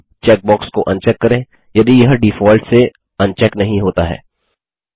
footer on checkbox को uncheck करें यदि यह डिफॉल्ट से अनचेक नहीं होता है